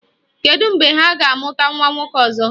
Kedu mgbe ha ga-amụta nwa nwoke ọzọ?